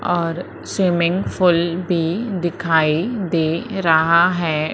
और swimming pool भी दिखाई दे रहा है।